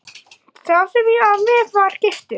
Sá sem ég var með var giftur.